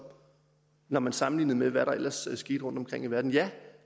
når man sammenlignede med hvad der ellers skete rundtomkring i verden ja